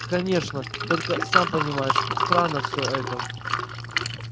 конечно только сам понимаешь странно всё это